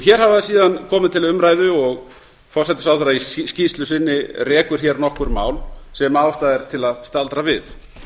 hér hafa síðan komið til umræðu og forsætisráðherra í skýrslu sinni rekur nokkur mál sem ástæða er til að staldra við